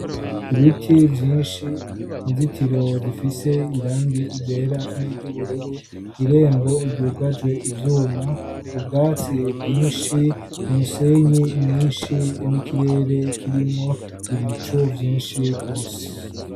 Ibiti vyinshi, inzitiro zifise irangi ryera n'iry'ubururu, irembo ryugajwe ivyuma, ubwatsi bwinshi, umusenyi mwinshi n'ikirere kirimwo ibicu vyinshi rwose.